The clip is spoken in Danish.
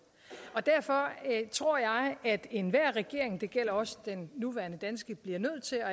derfor tror jeg at enhver regering og det gælder også den nuværende danske bliver nødt til at